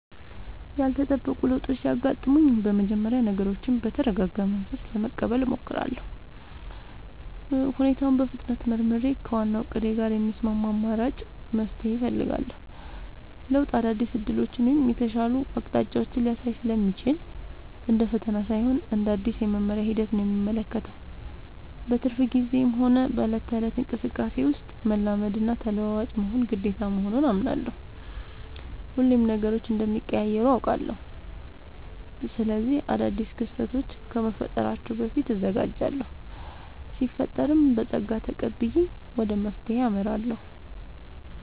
ያልተጠበቁ ለውጦች ሲያጋጥሙኝ በመጀመሪያ ነገሮችን በተረጋጋ መንፈስ ለመቀበል እሞክራለሁ። ሁኔታውን በፍጥነት መርምሬ፣ ከዋናው እቅዴ ጋር የሚስማማ አማራጭ መፍትሄ እፈልጋለሁ። ለውጥ አዳዲስ ዕድሎችን ወይም የተሻሉ አቅጣጫዎችን ሊያሳይ ስለሚችል፣ እንደ ፈተና ሳይሆን እንደ አዲስ የመማሪያ ሂደት ነው የምመለከተው። በትርፍ ጊዜዬም ሆነ በዕለት ተዕለት እንቅስቃሴዬ ውስጥ፣ መላመድና ተለዋዋጭ መሆን ግዴታ መሆኑን አምናለሁ። ሁሌም ነገሮች እንደሚቀያየሩ አውቃለሁ። ስለዚህ አዳዲስ ክስተቶች ከመፈጠራቸው በፊት እዘጋጃለሁ ሲፈጠርም በፀጋ ተቀብዬ ወደ መፍትሄው አመራለሁ።